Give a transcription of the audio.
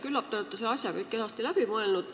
Küllap te olete selle asja kõik kenasti läbi mõelnud.